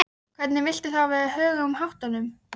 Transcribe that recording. Vitandi af systur sinni sofandi uppi á loftinu í ofanálag?